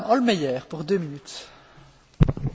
Frau Präsidentin, liebe Kolleginnen und Kollegen!